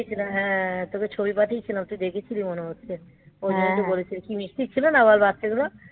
হ্যাঁ পাঠিয়েছিলাম হ্যাঁ তোকে ছবি পাঠিয়েছিলাম তুই দেখেছিলি মনে হচ্ছে কি মিষ্টি ছিল না বল বাচ্চাগুলো